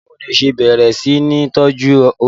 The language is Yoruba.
Báwo ni o ṣe bẹ̀rẹ̀ sí ní tọ́jú oyin?